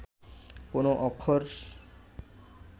কোন অক্ষর